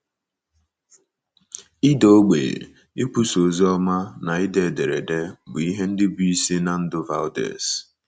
Ịda ogbenye, ikwusa oziọma, na ide ederede bụ ihe ndị bụ́ isi ná ndụ Vaudès.